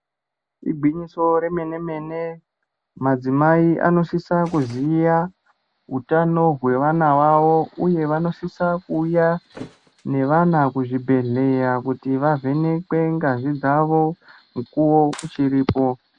Igwinyiso romene mene madzimai anosisa kuziva utano hwevana vavo uye vanosise kuuya nevana kuzvibhedhlera kuti vavhenekwe ngazi dzavo mukuwo uchiripo.